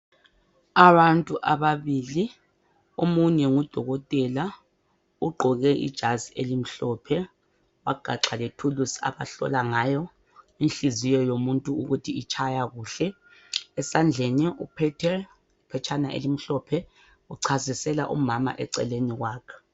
Abantu ababili, omunye ngudokotela ugqoke ijazi elimhlophe wagaxa lethuluzi azahlola ngayo inhliziyo yomuntu ukuthi itshaya kuhle. Esandleni uphethe iphetshana elimhlophe uchasisela umama eceleni kwakhe.